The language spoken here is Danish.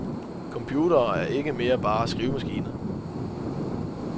Computere er ikke mere bare skrivemaskiner.